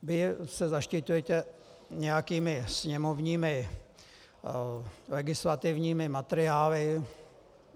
Vy se zaštiťujete nějakými sněmovními legislativními materiály.